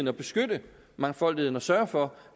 at beskytte mangfoldigheden og sørge for